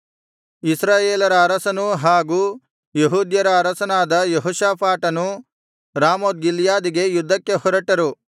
ಇಸ್ರಾಯೇಲರ ಅರಸನೂ ಹಾಗೂ ಯೆಹೂದ್ಯರ ಅರಸನಾದ ಯೆಹೋಷಾಫಾಟನೂ ರಾಮೋತ್ ಗಿಲ್ಯಾದಿಗೆ ಯುದ್ಧಕ್ಕೆ ಹೊರಟರು